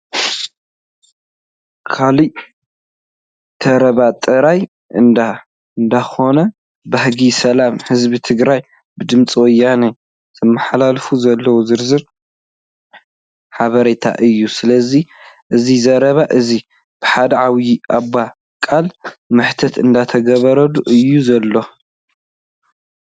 ከላእ! ተረባ ጥራሕ እንዳ እንዳኮና ፦ባህጊ ሰላም ህዝቢ ትግራይ ብድምፂ ወያነ ዘመሓላልፎ ዘሎ ዝረዝር ሓበሬታ እዩ። ስለዚ እዚ ዘረባ እዚ ብሓደ ዓብይ ኣቦ ቃለ-መሕተት እንዳተገበረሎም እዩ ዘሎ።